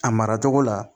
A mara cogo la